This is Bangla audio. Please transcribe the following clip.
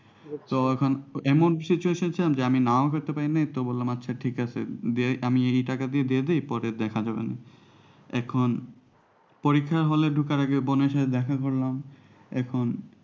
তো এখন এমনই situation এ ছিলাম যে আমি নাও করতে পারিনি তো বললাম আচ্ছা ঠিক আছে যে আমি এই টাকা দিয়ে দিয়ে দিই পরে দেখা যাবে না এখন পরীক্ষা hall এ ঢোকার আগে বোনের সাথে দেখা করলাম এখন